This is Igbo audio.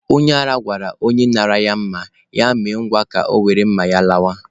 Onye ara gwara onye nara ya mma, ya mee ngwa ka ya were mma ya lawa.